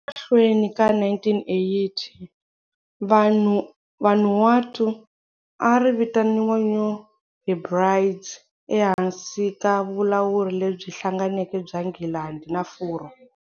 Emahlweni ka 1980, Vanuatu a ri vitaniwa New Hebrides ehansi ka vulawuri lebyi hlanganeke bya Nghilandhi na Furwa.